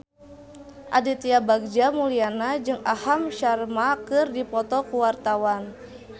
Aditya Bagja Mulyana jeung Aham Sharma keur dipoto ku wartawan